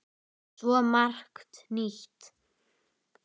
Svo margt nýtt.